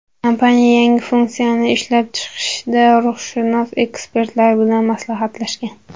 Kompaniya yangi funksiyani ishlab chiqishda ruhshunos ekspertlar bilan maslahatlashgan.